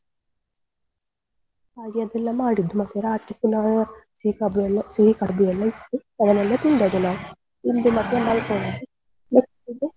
ಹಾಗೆ ಅದೆಲ್ಲ ಮಾಡಿದ್ದು ಮತ್ತೆ ರಾತ್ರಿ ಪುನಃ ಎಲ್ಲ ಸಿಹಿ ಕಡ್ಬು ಎಲ್ಲ ಇತ್ತು ಅದನ್ನೆಲ್ಲ ತಿಂದದ್ದು ನಾವು ತಿಂದು ಮತ್ತೆ ಮಲ್ಕೊಂಡದ್ದು .